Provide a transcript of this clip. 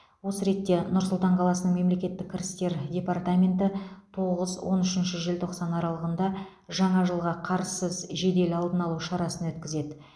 осы ретте нұр сұлтан қаласының мемлекеттік кірістер департаменті тоғыз он үшінші желтоқсан аралығында жаңа жылға қарызсыз жедел алдын алу шарасын өткізеді